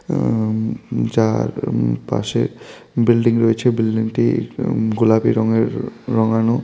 উম যার পাশে বিল্ডিং রয়েছে বিল্ডিংটি গোলাপী রঙের রঙ্গানো।